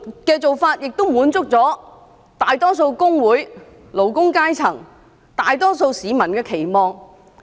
這做法亦滿足了大部分工會、勞工階層及大多數市民的期望。